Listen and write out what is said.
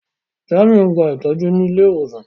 Jàmíù n gbà ìtọju ní ilẹ̀-ìwosan.